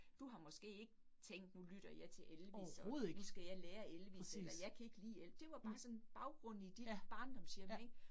Du har måske ikke tænkt nu lytter jeg til Elvis og nu skal jeg lære Elvis eller jeg kan ikke lide Elvis. Det var bare sådan baggrund i dit barndomshjem ik